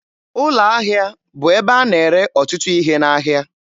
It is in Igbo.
Ụlọ ahịa bụ ebe a na-ere ọtụtụ ihe n'ahịa.